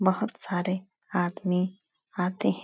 बहोत सारे आदमी आते हैं।